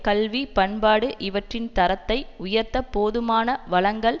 கல்வி பண்பாடு இவற்றின் தரத்தை உயர்த்தப்போதுமான வளங்கள்